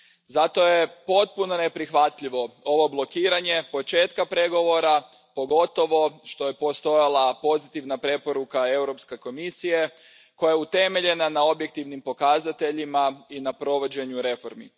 Zato je potpuno neprihvatljivo ovo blokiranje početka pregovora, pogotovo što je postojala pozitivna preporuka Europske komisije koja je utemeljena na objektivnim pokazateljima i na provođenju reformi.